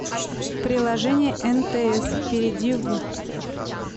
приложение нтс перейди в